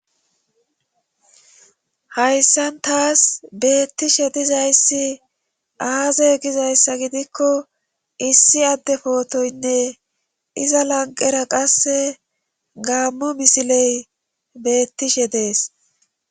Hayssan taas beettishe dizayssi aaze gizayssa gidikko issi adde pootoynne iza lanqera qasse gaammo misiley beettishe dees.